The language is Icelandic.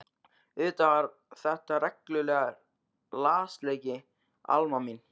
Auðvitað var þetta reglulegur lasleiki Alma mín.